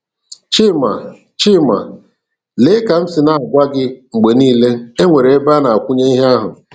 Chima: Chima: Lee, ka m si agwaa gị mgbe niile, e nwere ebe a na-akwụnye ihe ahụ!